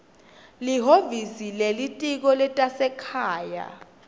lihhovisi lelitiko letasekhaya